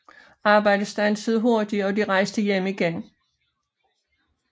Arbejdet strandede hurtigt og de rejste hjem igen